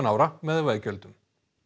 ára með veggjöldum